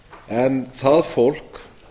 en það fólk